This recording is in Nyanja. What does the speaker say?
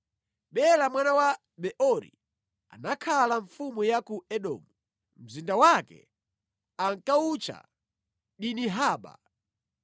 Bela mwana wa Beori anakhala mfumu ya ku Edomu. Mzinda wake ankawutcha Dinihaba.